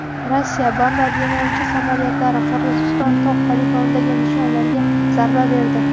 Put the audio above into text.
Rossiya bombardimonchi samolyotlari Qirg‘iziston tog‘ poligonidagi nishonlarga zarba berdi.